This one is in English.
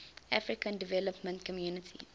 african development community